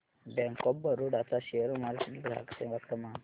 bank of Baroda चा share market ग्राहक सेवा क्रमांक